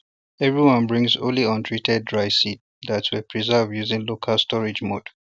everyone brings only untreated dry seeds that were preserved using local storage methods